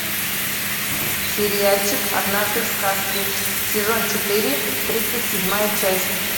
сериальчик однажды в сказке сезон четыре тридцать седьмая часть